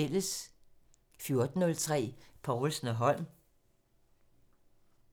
14:03: Povlsen & Holm